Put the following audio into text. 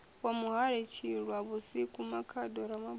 wa muhali tshilwavhusiku makhado ramabulana